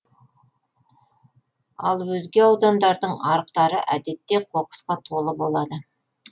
ал өзге аудандардың арықтары әдетте қоқысқа толы болады